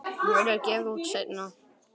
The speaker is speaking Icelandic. Það verður gefið út seinna.